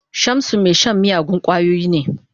Shamsu mai shan miyagun kwayoyi ne.